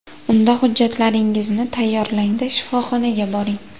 Unda hujjatlaringizni tayyorlang-da, shifoxonaga boring.